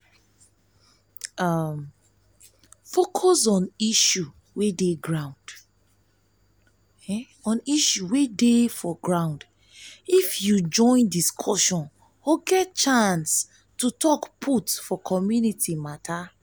di one wey to rub mind for local government matter and policy na to dey at ten d their meeting